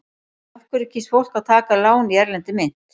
En af hverju kýs fólk að taka lán í erlendri mynt?